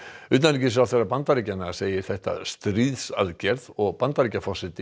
utanríkisráðherra Bandaríkjanna segir þetta stríðsaðgerð og Bandaríkjaforseti